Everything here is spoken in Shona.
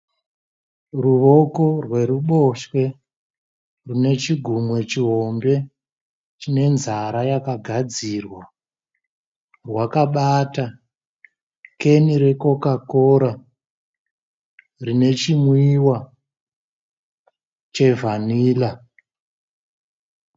Ruoko rweruboshwe rune chigunwe chihombe chine nzara yakagadzirwa rwakabata keni rekokakora rine chinwiwa chevanilla